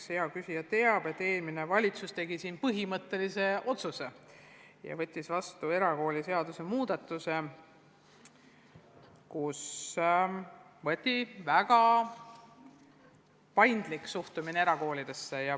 Eks hea küsija teab, et eelmine valitsus tegi siin põhimõttelise otsuse ja võttis vastu erakooliseaduse muudatuse, millega kiideti heaks väga paindlik suhtumine erakoolidesse.